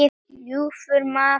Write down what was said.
ljúfur maður ljóss.